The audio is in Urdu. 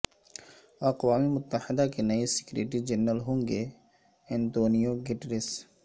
اقوام متحدہ کے نئے سیکریٹری جنرل ہوں گے انتونیو گٹریس